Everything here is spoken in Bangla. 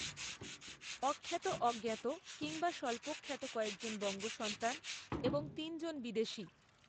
অখ্যাত অজ্ঞাত কিংবা স্বল্পখ্যাত কয়েকজন বঙ্গসন্তান এবং তিনজন বিদেশি